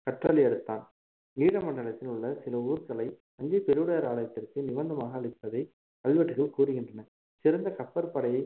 கற்றளி எடுத்தான் ஈழ மண்டலத்தில் உள்ள சில ஊர்களை தஞ்சை பெருவுடையார் ஆலயத்திற்கு நிவந்தமாக அளிப்பதை கல்வெட்டுகள் கூறுகின்றன சிறந்த கப்பற்படையை